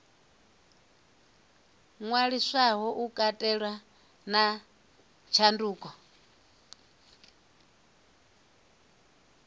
ṅwaliswaho u katela na tshanduko